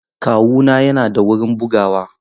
Kawuna yana da wurin bugawa.